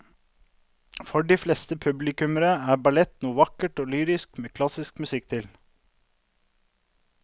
For de fleste publikummere er ballett noe vakkert og lyrisk med klassisk musikk til.